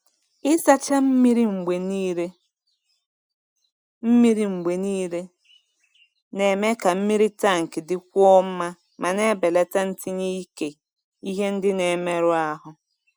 Ịsacha mmiri mgbe niile mmiri mgbe niile na-eme ka mmiri tank dịkwuo mma ma na-ebelata ntinye nke ihe ndị na-emerụ ahụ.